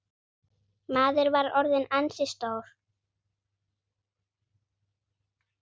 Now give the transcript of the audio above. Maður var orðinn ansi stór.